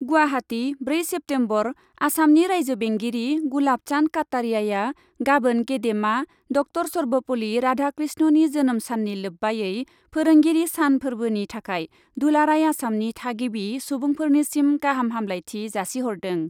गुवाहाटि, ब्रै सेप्तेम्बरः आसामनि रायजो बेंगिरि गुलाब चान्द काटारियाआ गाबोन गेदेमा डक्ट'र शर्भपल्लि राधा कृष्णनि जोनोम साननि लोब्बायै फोरोंगिरि सान फोर्बोनि थाखाय दुलाराय आसामनि थागिबि सुबुंफोरनिसिम गाहाम हामब्लायथि जासिहरदों।